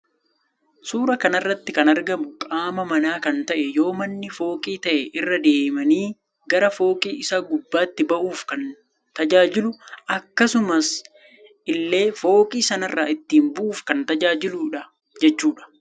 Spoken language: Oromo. Suuraa kanarratti kan argamu qaaama mana kan ta'e yoo mannii fooqii ta'e irra deemani gara fooqii isa gubbaatti bahuuf kan tajaajilu akkasumas illee foooqii sanarra ittin bu'uf kan tajaajiludha jechuudha.